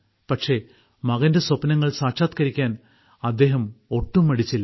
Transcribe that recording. പക്ഷേ മകന്റെ സ്വപ്നങ്ങൾ സാക്ഷാത്കരിക്കാൻ അദ്ദേഹം ഒട്ടും മടിച്ചില്ല